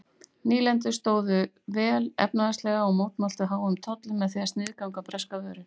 Nýlendurnar stóðu vel efnahagslega og mótmæltu háum tollum með því að sniðganga breskar vörur.